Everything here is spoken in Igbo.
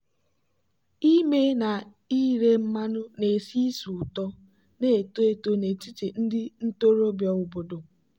ime na ire mmanụ na-esi ísì ụtọ na-eto eto n'etiti ndị ntorobịa obodo.